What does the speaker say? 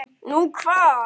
Nú, hvar?